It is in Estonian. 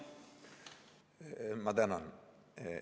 Ma tänan!